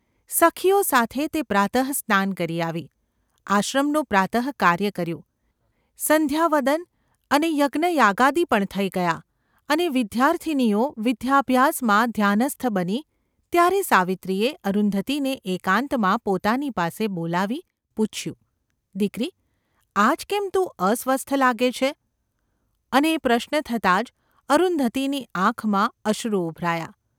સખીઓ સાથે તે પ્રાતઃસ્નાન કરી આવી, આશ્રમનું પ્રાત:કાર્ય કર્યું, સંધ્યાવદન અને યજ્ઞયાગાદિ પણ થઈ ગયાં અને વિદ્યાર્થીનીઓ વિદ્યાભ્યાસમાં ધ્યાનસ્થ બની ત્યારે સાવિત્રીએ અરુંધતીને એકાંતમાં પોતાની પાસે બોલાવી પૂછ્યું : ‘દીકરી ! આજ કેમ તું અસ્વસ્થ લાગે છે ?’ અને એ પ્રશ્ન થતાં જ અરુંધતીની આંખમાં અશ્રુ ઊભરાયાં.